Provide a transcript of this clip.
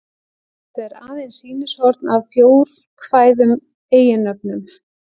Þetta er aðeins sýnishorn af fjórkvæðum eiginnöfnum.